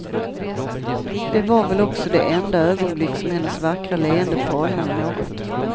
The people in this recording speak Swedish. Det var väl också det enda ögonblick som hennes vackra leende falnade något.